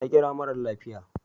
Ta kira mara lafiya.